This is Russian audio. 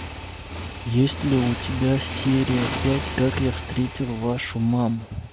есть ли у тебя серия пять как я встретил вашу маму